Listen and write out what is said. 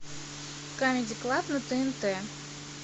камеди клаб на тнт